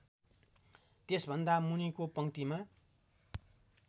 त्यसभन्दा मुनिको पंक्तिमा